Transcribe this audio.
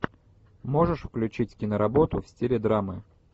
можешь включить киноработу в стиле драмы